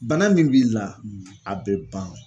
Bana min b'i la a be ban.